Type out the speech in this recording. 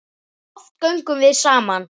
Og oft göngum við saman.